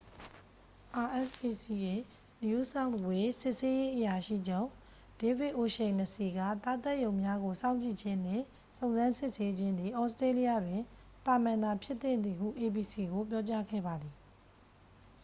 rspca new south wales စစ်ဆေးရေးအရာရှိချုပ် ဒေးဗစ်အိုရှိန်နစီစ် က သားသတ်ရုံများကို စောင့်ကြည့်ခြင်းနှင့် စုံစမ်းစစ်ဆေးခြင်းသည် သြစတေးလျတွင် သာမန်သာဖြစ်သင့်သည်ဟု abc ကို ပြောကြားခဲ့ပါသည်